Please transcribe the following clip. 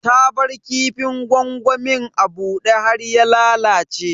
Ta bar kifin gwangwamin a bude har ya lalace.